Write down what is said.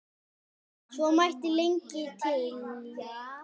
Svo mætti lengi telja.